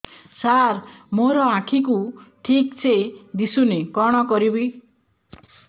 ସାର ମୋର ଆଖି କୁ ଠିକସେ ଦିଶୁନି କଣ କରିବି